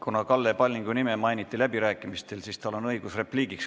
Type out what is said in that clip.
Kuna Kalle Pallingu nime mainiti läbirääkimistel, siis tal on õigus repliik öelda.